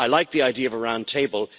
I like the idea of a round table.